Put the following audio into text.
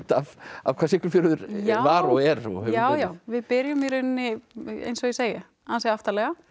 af hvað Siglufjörður var og er já já við byrjum í rauninni eins og ég segi ansi aftarlega